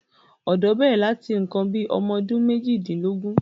ọ̀dọ́ bẹ̀rẹ̀ láti nǹkan bí i ọmọdún méjìdínlógún.